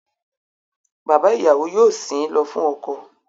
Bàbá ìyàwó yóò sìn ín lọ fún ọkọ